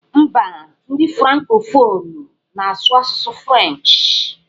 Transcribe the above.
M̀bá ndị frankofonụ na-asụ asụsụ frenchị.